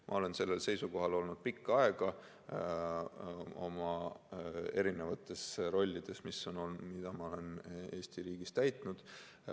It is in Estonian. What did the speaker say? Ma olen sellel seisukohal olnud pikka aega eri rollides, mida ma olen Eesti riigis täitnud.